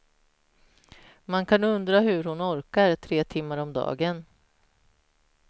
Man kan undra hur hon orkar tre timmar om dagen.